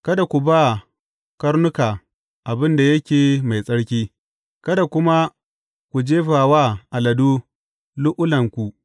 Kada ku ba karnuka abin da yake mai tsarki; kada kuma ku jefa wa aladu lu’ulu’anku.